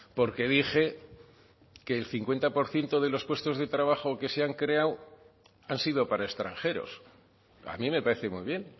porque dije que el cincuenta por ciento de los puestos de trabajo que se han creado han sido para extranjeros a mí me parece muy bien